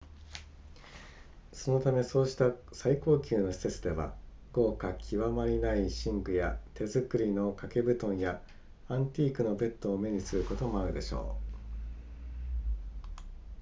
そのためそうした最高級の施設では豪華極まりない寝具や手作りの掛け布団やアンティークのベッドを目にすることもあるでしょう